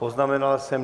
Poznamenal jsem.